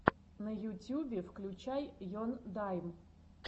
на ютюбе включай ендайм